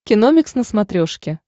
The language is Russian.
киномикс на смотрешке